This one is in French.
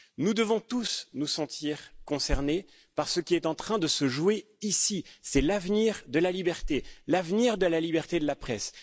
Nous devons tous nous sentir concernés par ce qui est en train de se jouer ici, c'est l'avenir de la liberté, l'avenir de la liberté de la presse.